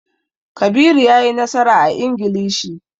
Kabiru ya yi nasara a Ingilishi.